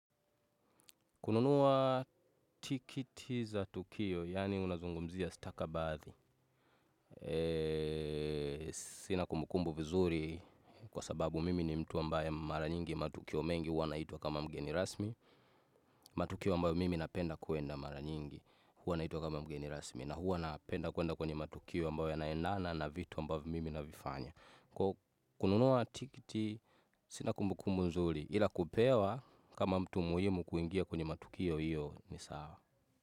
Kununua tikiti za tukio, yaani unazungumzia stakabathi. Sina kumbukumbu vizuri kwa sababu mimi ni mtu ambaye mara nyingi matukio mengi, huwa naitwa kama mgeni rasmi, matukio ambayo mimi napenda kwenda mara nyingi, huwa naitwa kama mgeni rasmi, na huwa napenda kwenda kwenye matukio ambayo yanaendana na vitu ambayo mimi navifanya. Kununua tikiti, sina kumbukumbu nzuri ila kupewa kama mtu muhimu kuingia kwenye matukio iyo ni sawa.